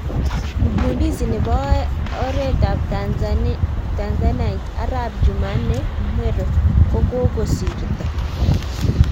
Mgundizi nepo oet ap tanzanite, arap jumanne mhero kokosirto